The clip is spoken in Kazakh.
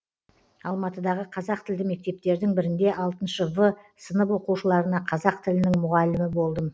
алматыдағы қазақ тілді мектептердің бірінде алтыншы в сынып оқушыларына қазақ тілінің мұғалімі болдым